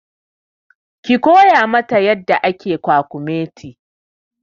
Ki koya ma ta yadda ake kwakumeti!